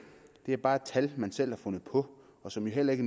det er bare et tal man selv har fundet på og som heller ikke